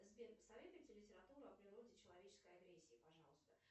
сбер посоветуйте литературу о природе человеческой агрессии пожалуйста